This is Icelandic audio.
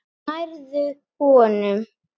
Nærðu honum?